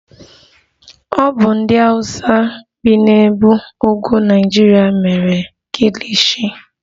Ọ bụ ndị hausa bi n'ebe ugwu Naịjirịa mere Kilishi.